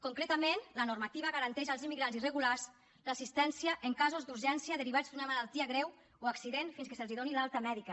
concretament la normativa garanteix als immigrants irregulars l’assistència en casos d’urgència derivats d’una malaltia greu o accident fins que se’ls doni l’alta mèdica